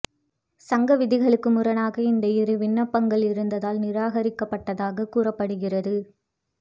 சங்க விதிகளுக்கு முரணாக இந்த இரு விண்ணப்பங்களும் இருந்ததால் நிராகரிக்கப்பட்டதாக கூறப்படுகிறது